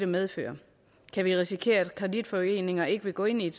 medføre kan vi risikere at kreditforeninger ikke vil gå ind i